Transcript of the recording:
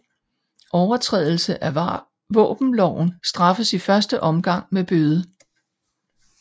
Overtrædelse af våbenloven straffes i første omgang med bøde